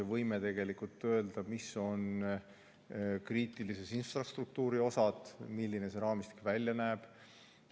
Me võime tegelikult öelda, mis on kriitilise infrastruktuuri osad ja milline see raamistik välja näeb.